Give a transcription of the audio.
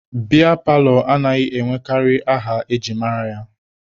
Biya paalọ anaghị enwekarị aha e ji mara ya.